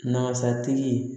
Nasatigi